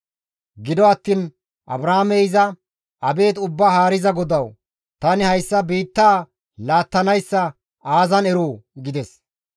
Gido attiin Abraamey iza, «Abeet Ubbaa Haariza GODAWU! Tani hayssa biittaa laattanayssa aazan eroo?» gides.